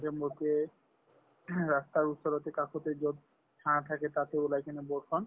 ৰাস্তাৰ ওচৰতে কাষতে যত ছা থাকে তাতে ওলাই কিনে board খন